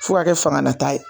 Fo k'a kɛ fangalataa ye